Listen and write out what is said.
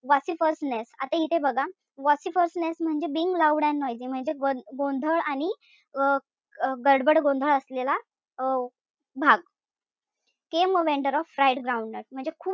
Vociferousness आता इथे बघा vociferousness म्हणजे being loud and noisy म्हणजे गोंधळ आणि अं गडबड गोंधळ असलेला अं भाग. came a vendor of fried groundnut, म्हणजे खूप,